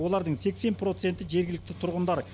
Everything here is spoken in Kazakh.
олардың сексен проценті жергілікті тұрғындар